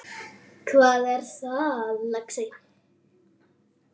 Hvað er það, lagsi?